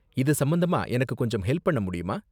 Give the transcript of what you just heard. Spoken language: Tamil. இது சம்பந்தமா எனக்கு கொஞ்சம் ஹெல்ப் பண்ண முடியுமா?